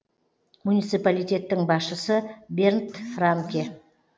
муниципалитеттің басшысы бернд франке